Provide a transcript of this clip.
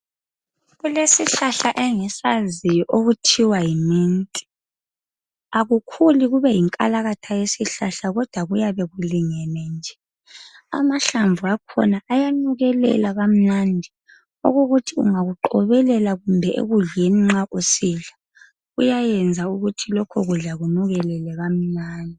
Kulesihlahla engisaziyo okuthiwa yi-mint. Akukhuli kube yinkalakatha yesihlahla, kodwa kuyabe kulungene nje. Amahlamvu akhona ayanukelela kamnandi, okokuthi ungakuqobelela kumbe ekudleni nxa usidla, kuyayenza ukuthi lokho kudla kunukelele kamnandi.